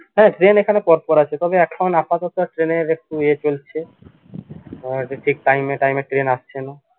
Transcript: হ্যা train এখানে পর পর আছে তবে এখন আপাতত train এর একটু ইয়ে চলছে আহ যে ঠিক time এ time এ train আসছে না